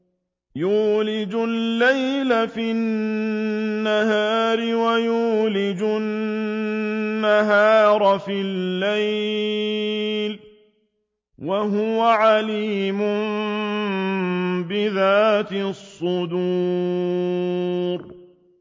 يُولِجُ اللَّيْلَ فِي النَّهَارِ وَيُولِجُ النَّهَارَ فِي اللَّيْلِ ۚ وَهُوَ عَلِيمٌ بِذَاتِ الصُّدُورِ